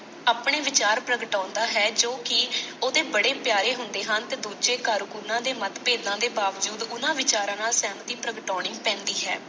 ਆਪਣੇ ਵਿਚਾਰ ਪ੍ਰਗਟਾਉਂਦਾ ਹੈ ਜੋ ਕਿ ਓਹਦੇ ਬੜੇ ਪਿਆਰੇ ਹੁੰਦੇ ਹਨ ਤੇ ਦੂਜੇ ਘਰ ਉਹਨਾਂ ਦੇ ਮਤਭੇਦਾਂ ਦੇ ਬਾਵਜੂਦ ਉਹਨਾਂ ਵਿਚਾਰਾਂ ਨਾਲ ਸਹਿਮਤੀ ਪ੍ਰਗਟਾਉਣੀ ਪੈਂਦੀ ਹੈ।